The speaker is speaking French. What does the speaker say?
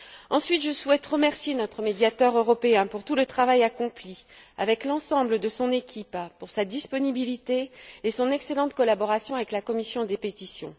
Ensuite, je souhaite remercier notre Médiateur européen pour tout le travail accompli, avec l'ensemble de son équipe, pour sa disponibilité et son excellente collaboration avec la commission des pétitions.